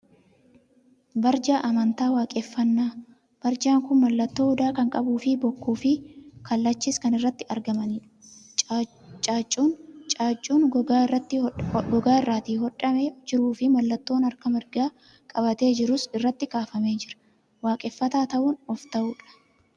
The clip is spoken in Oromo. Barjaa amantaa waaqeffannaa. Barjaan kun mallattoo Odaa kan qabuu fi bokkuu fi kallachis kan irratti argamanidha. Caaccuun gogaa irratti hodhamee jiruu fi mallattoon harka marga qabatee jiruus irratti kaafamee jira. Waaqeffataa ta'uun of ta'uudha!